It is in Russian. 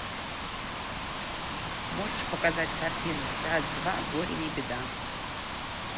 можешь показать картину раз два горе не беда